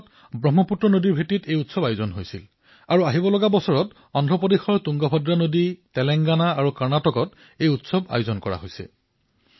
এই বছৰ ব্ৰহ্মপুত্ৰ নদীত আয়োজিত হৈছে আৰু আগলৈ সালতুংগভদ্ৰা নদী অন্ধ্ৰ প্ৰদেশ তেলেংগানা আৰু কৰ্ণাটকত আয়োজিত হব